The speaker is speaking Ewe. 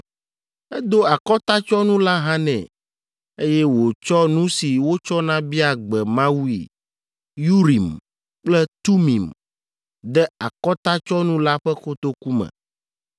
Edo akɔtatsyɔnu la hã nɛ, eye wòtsɔ nu si wotsɔna bia gbe Mawui, “Urim” kple “Tumim,” de akɔtatsyɔnu la ƒe kotoku me.